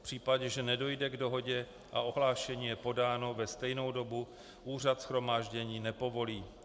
V případě, že nedojde k dohodě a ohlášení je podáno ve stejnou dobu, úřad shromáždění nepovolí.